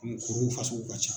Kuru in fasugu ka ca.